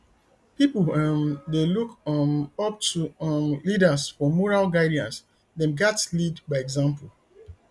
pipo um dey look um up to um leaders for moral guidance dem gatz lead by example